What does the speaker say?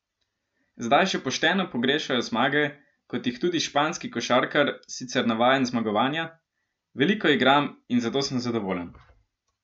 Zdaj že pošteno pogrešajo zmage, kot jih tudi španski košarkar, sicer navajen zmagovanja: "Veliko igram in zato sem zadovoljen.